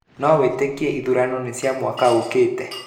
No wĩtĩkie ithurano nĩ cia mwaka ũkĩte?